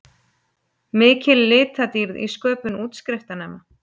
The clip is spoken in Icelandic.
Mikil litadýrð í sköpun útskriftarnema